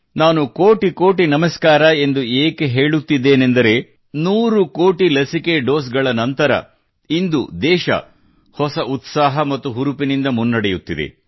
ನಾನು ಕೋಟಿ ಕೋಟಿ ನಮಸ್ಕಾರ ಎಂದು ಏಕೆ ಹೇಳುತ್ತಿದ್ದೇನೆ ಎಂದರೆ ನೂರು ಕೋಟಿ ಲಸಿಕೆ ಡೋಸ್ ಗಳ ನಂತರ ಇಂದು ದೇಶ ಹೊಸ ಉತ್ಸಾಹ ಮತ್ತು ಹುರುಪಿನಿಂದ ಮುನ್ನಡೆಯುತ್ತಿದೆ